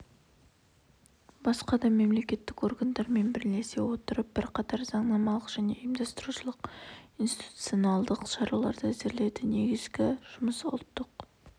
басқа да мемлекеттік органдармен бірлесе отырып бірқатар заңнамалық және ұйымдастырушылық-институционалдық шараларды әзірледі негізгі жұмыс ұлттық